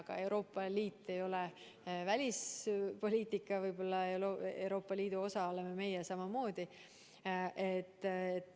Aga Euroopa Liit ei ole võib-olla välispoliitika, Euroopa Liidu osa oleme meie samamoodi.